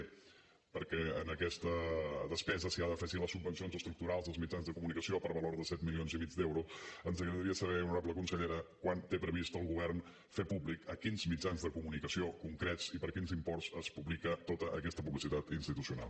perquè en aquesta despesa s’hi han d’afegir les subvencions estructurals als mitjans de comunicació per valor de set milions i mig d’euros ens agradaria saber honorable consellera quan té previst el govern fer públic a quins mitjans de comunicació concrets i per quins imports es publica tota aquesta publicitat institucional